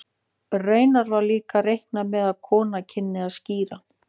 Raunar var líka reiknað með að konur kynnu að skíra.